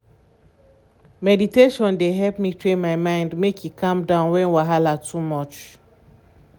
meditation dey help me train my mind make e calm down when wahala too much.